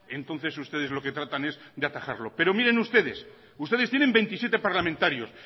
entonces ustedes lo que tratan es de atajarlo pero miren ustedes ustedes tienen veintisiete parlamentarios